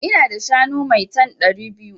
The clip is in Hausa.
Ina da shanu maitan (ɗari biyu)